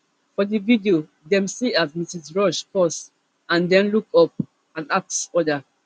for di video dem see as mrs rush pause and den look up and ask oda